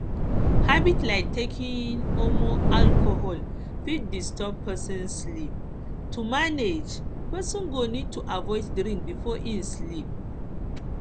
habits like taking um alcohol fit disturb person um sleep to manage person go need to avoid drink before um im sleep